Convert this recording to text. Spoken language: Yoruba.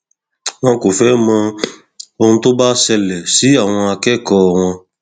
wọn kò fẹẹ mọ ohun tó bá ṣẹlẹ sí àwọn akẹkọọ wọn